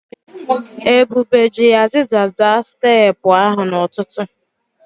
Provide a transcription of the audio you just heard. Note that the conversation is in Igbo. Ebube ji aziza zaa steepụ ahụ n'ụtụtụ.